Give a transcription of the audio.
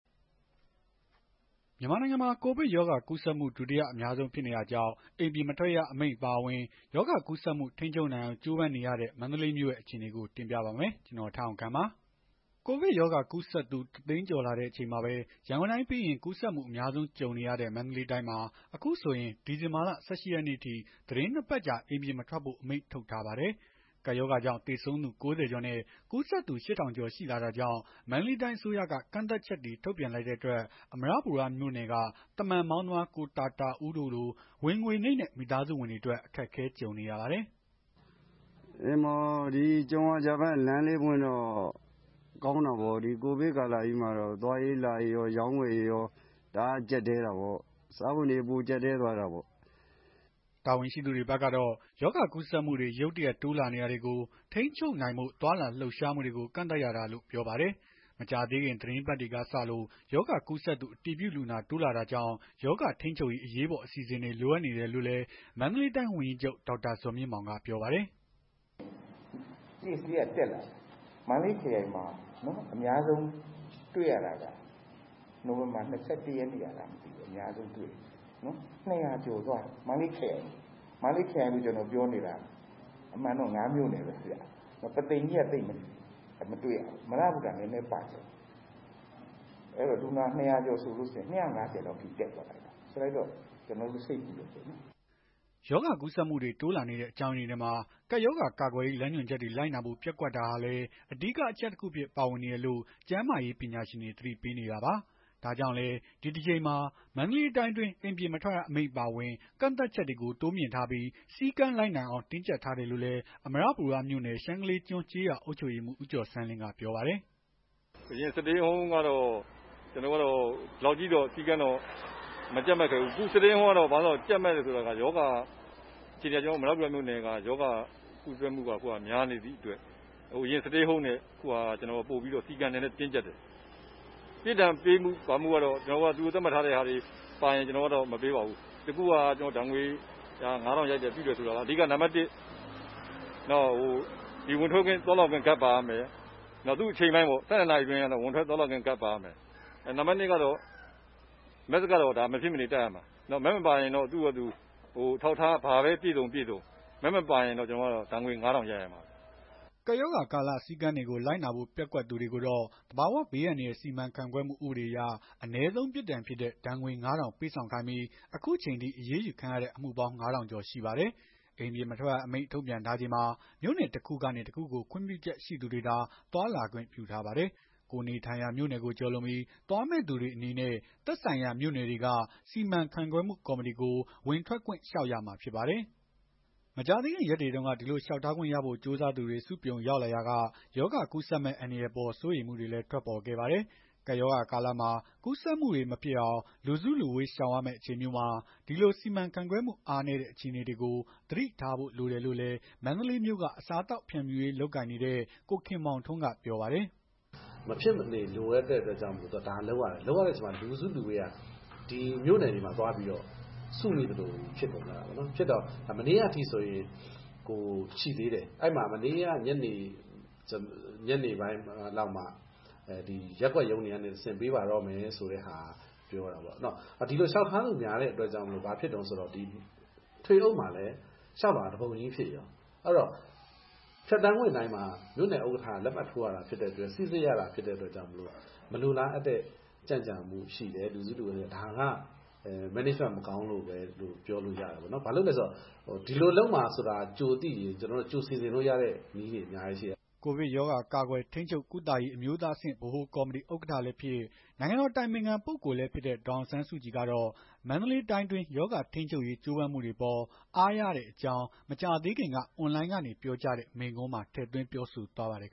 မြန်မာနိုင်ငံမှာ ကိုဗစ်ရောဂါကူးစက်မှု ဒုတိယအများဆုံးဖြစ်နေတာကြောင့် အိမ်ပြင်မထွက်ရ အမိန့်အပါအဝင် ရောဂါကူးစက်မှု ထိန်းချုပ်နိုင်အောင် ကြိုးပမ်းနေရတဲ့ မန္တလေးမြို့ရဲ့ အခြေအနေကို တင်ပြပါမယ်။ ဗွီအိုအေမြန်မာပိုင်း သတင်းထောက် ကိုထက်အောင်ခန့်က သတင်းပေးပို့ထားပါတယ်။ ကိုဗစ်ရောဂါ ကူးစက်သူ ၁၀၀,၀၀၀ ကျော်လာတဲ့အချိန်မှာပဲ ရန်ကုန်တိုင်းပြီးရင် ကူးစက်မှု အများဆုံးကြုံနေရတဲ့ မန္တလေးတိုင်းမှာ အခုဆိုရင် ဒီဇင်ဘာလ ၁၈ ရက်နေ့အထိ သီတင်း ၂ ပတ်ကြာ အိမ်ပြင်မထွက်ဖို့ အမိန့်ထုတ်ထားပါတယ်။ ကပ်ရောဂါကြောင့် သေဆုံးသူ ၉၀ ကျော်နဲ့ ကူးစက်သူ ၈,၀၀၀ ကျော် ရှိလာတာကြောင့် မန္တလေးတိုင်း အစိုးရက ကန့်သတ်ချက်တွေ ထုတ်ပြန်လိုက်တဲ့အတွက် အမရပူရမြို့နယ်က သမ္ဗန်မောင်းသမား ကိုတာတာဦးတို့လို ဝင်ငွေနိမ့်တဲ့ မိသားစုတွေအတွက် အခက်အခဲတွေ ကြုံနေရပါတယ်။ “ကြုံရာကျပန်း လမ်းလေးပွင့်တော့ ကောင်းတာပေါ့။ ကိုဗစ်ကာလကြီးမှာ သွားရေးလာရေးကော အရောင်းအဝယ်တွေရော တအားကြပ်တည်းတာပေါ့။ စားဝတ်နေရေး ပိုကြပ်တည်းသွားတာပေါ့။” တာဝန်ရှိသူတွေဘက်ကတော့ ရောဂါကူးစက်မှုတွေ ရုတ်တရက် တိုးလာနေတာတွေကို ထိန်းချုပ်နိုင်ဖို့ သွားလာလှုပ်ရှားမှုတွေကို ကန့်သတ်ရတာလို့ ပြောပါတယ်။ မကြာသေးခင် သီတင်းပတ်တွေက စလို့ ရောဂါကူးစက်သူ အတည်ပြုလူနာ တိုးလာတာကြောင့် ရောဂါထိန်းချုပ်ရေး အရေးပေါ် အစီအစဉ်တွေ လိုအပ်နေတယ်လို့လည်း မန္တလေးတိုင်းဝန်ကြီးချုပ် ဒေါက်တာဇော်မြင့်မောင်က ပြောပါတယ်။ “Case လေးက တက်လာတယ်။ မန္တလေးခရိုင်မှာ အများဆုံးတွေ့ရတာက နိုဝင်ဘာ ၂၁ ရက်နေ့က အများဆုံး တွေ့ရတယ်။ ၂၀၀ ကျော်သွားတယ်။ မန္တလေးခရိုင်မှာ မန္တလေးခရိုင်လို ကျနော်ပြောနေတာက ၅ မြို့နယ်ပဲ ရှိတယ်။ ပုသိမ်ကြီးက သိပ်မတွေ့ရဘူး။ အမရပူရ နည်းနည်းပါတယ်။ ၂၅၀ လောက်ထိ တက်သွားတယ်။ ကျနော်တို့ စိတ်ပူတယ်ပေါ့နော်။” ရောဂါကူးစက်မှုတွေ တိုးလာနေတဲ့ အကြောင်းရင်းတွေထဲမှာ ကပ်ရောဂါကာကွယ်ရေး လမ်းညွှန်ချက်တွေ လိုက်နာဖို့ ပျက်ကွက်တာဟာလည်း အဓိကအချက်တခုအဖြစ် ပါဝင်နေတယ်လို့ ကျန်းမာရေး ပညာရှင်တွေ သတိပေးနေတာပါ။ ဒါကြောင့်လည်း ဒီတကြိမ်မှာ မန္တလေးတိုင်းအတွင်း အိမ်ပြင်မထွက်ရ အမိန့်အပါအဝင် ကန့်သတ်ချက်တွေကို တိုးမြှင့်ထားပြီး၊ စည်းကမ်း လိုက်နာအောင် တင်းကြပ်ထားတယ်လို့လည်း အမရပူရမြို့နယ် ရှမ်းကလေးကျွန်း ကျေးရွာအုပ်ချုပ်ရေးမှူး ဦးကျော်ဆန်းလင်းက ပြောပါတယ်။ “အရင် Stay Home တုန်းက အခုလောက်ထိ စည်းကမ်းတင်းကြပ်မှုမရှိခဲ့ဘူးပေါ့။ အခု Stay Home မှာ ကြပ်မတ်တယ်ဆိုတာက ကျနော်တို့ အမရပူရမြို့နယ်က ရောဂါကူးစက်မှု များနေတဲ့အတွက် အရင် Stay Home ထက် အခု Stay Home ကပိုပြီးတင်းကြပ်တယ်။ ပြစ်ဒဏ်ပေးမှုအပိုင်းကတော့ သူတို့သတ်မှတ်ထားတဲ့ ဟာတွေ ပါလာရင် အရေးမယူပါဘူး။ အခု ဒဏ်ငွေ ၅,၀၀၀ ရိုက်တယ်ဆိုတာက ဝင်ထွက်သွားလာခွင့် ကဒ် ပါရမယ်။ သူ့အချိန်ပိုင်းပေါ့ ၁၂ အတွင်း ဝင်ထွက်သွားလာခွင့် ကတ်ပါရမယ်။ Mask ကတော့ မဖြစ်မနေ တပ်ရမယ်။ Mask မပါရင်တော့ သူ့ဘာသာ ဘာအထောက်အထား ပြည့်စုံ၊ ပြည့်စုံ Mask မပါရင်တော့ ဒဏ်ငွေ ရိုက်ရမှာပဲ။” ကပ်ရောဂါကာလ စည်းကမ်းတွေကို လိုက်နာဖို့ ပျက်ကွက်သူတွေကိုတော့ သဘာဝဘေးအန္တရာယ် စီမံခန့်ခွဲမှု ဥပဒေအရ အနည်းဆုံး ပြစ်ဒဏ်ဖြစ်တဲ့ ဒဏ်ငွေ ၅,၀၀၀ ပေးဆောင်ခိုင်းပြီး၊ အခုအချိန်အထိ အရေးယူခံရတဲ့ အမှုပေါင်း ၅,၀၀၀ ကျော်ရှိပါတယ်။ အိမ်ပြင်မထွက်ရ အမိန့်ထုတ်ပြန်ထားချိန်မှာ မြို့နယ်တခုကနေ တခုကို ခွင့်ပြုချက်ရှိသူတွေသာ သွားလာခွင့်ပြုထားပါတယ်။ ကိုယ်နေထိုင်ရာ မြို့နယ်ကိုကျော်လွန်ပြီး သွားမယ့်သူတွေ အနေနဲ့ သက်ဆိုင်ရာမြို့နယ်တွေက စီမံခန့်ခွဲမှု ကော်မတီကို ဝင်ထွက်ခွင့်လျှောက်ရမှာ ဖြစ်ပါတယ်။ မကြာသေးခင် ရက်တွေတုန်းက ဒီလိုလျှောက်ထားခွင့်ရဖို့ ကြိုးစားသူတွေ စုပြုံရောက်လာရာက ရောဂါကူးစက်မယ့် အန္တရာယ်အပေါ် စိုးရိမ်မှုတွေလည်း ထွက်ပေါ်ခဲ့ပါတယ်။ ကပ်ရောဂါကာလမှာ ကူးစက်မှုတွေ မဖြစ်အောင် လူစုလူဝေး ရှောင်ရမယ့်အချိန်မျိုးမှာ ဒီလိုစီမံခန့်ခွဲမှု အားနည်းတဲ့ အခြေအနေတွေကို သတိထားဖို့ လိုတယ်လို့လည်း မန္တလေးမြို့က အစားအသောက် ဖြန့်ဖြူးရေးလုပ်ငန်း လုပ်ကိုင်နေတဲ့ ကိုခင်မောင်ထွန်းက ပြောပါတယ်။ “မဖြစ်မနေလိုတဲ့အတွက်ကြောင့်မို့လို့ ဒါလုပ်ရတယ်။ ဒါလုပ်ရတဲ့အတွက် လူစုလူဝေးက မြို့နယ်တွေမှာ သွားပြီး စုဝေးသလိုဖြစ်နေတယ်။ ဖြစ်တော မနေ့ကအထိဆိုရင်ရှိသေးတယ်။ မနေ့က ညနေပိုင်းလောက်မှ ရပ်ကွက်ရုံး တွေကနေတဆင့် ပေးပါတော့မယ်ဆိုတဲ့ဟာ ပြောတာပေါ့။ ဒီလိုလျှောက်ထားသူများတဲ့အတွက် ဘာဖြစ်လဲဆိုတော့ ထွေအုပ်မှာလည်း လျှောက်လွှာတပုံကြီးဖြစ်ရော အဲ့ဒီတော့ ဖြတ်သန်းခွင့်တိုင်းမှာ မြို့နယ် ဥက္ကဋ္ဌက လက်မှတ်ထိုးရတာ ဖြစ်တဲ့အတွက် လက်မှတ်ထိုးရတာ ဖြစ်တဲ့အတွက် မလိုလားအပ်တဲ့ ကြန့်ကြာမှု ရှိတယ်။ လူစုလူဝေး ရှိတယ်။ ဒါက စီမံခန့်ခွဲမှု မကောင်းလို့ပဲလို့ ပြောလို့ရတယ်ပေါ့နော်။ ဘာလို့လည်းဆိုတော့ ဒီလိုလုပ်မှာ ကြိုသိရင် ကြိုစီစဉ်လို့ရတဲ့ နည်းတွေ အများကြီးရှိတယ်။” ကိုဗစ်ရောဂါ ကာကွယ်၊ ထိန်းချုပ်၊ ကုသရေး အမျိုးသားအဆင့်ဗဟိုကော်မတီ ဥက္ကဋ္ဌလည်းဖြစ်၊ နိုင်ငံတော် အတိုင်ပင်ခံပုဂ္ဂိုလ်လည်းဖြစ်တဲ့ ဒေါ်အောင်ဆန်းစုကြည်ကတော့ မန္တလေးတိုင်းအတွင်း ရောဂါထိန်းချုပ်ရေး ကြိုးပမ်းမှုတွေအပေါ် အားရတဲ့အကြောင်း မကြာသေးခင်က အွန်လိုင်းကနေ ပြောကြားတဲ့ မိန့်ခွန်းမှာ ထည့်သွင်းပြောဆိုသွားပါတယ်